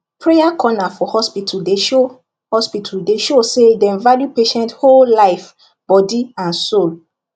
prayer corner for hospital dey show hospital dey show say dem value patient whole life body and soul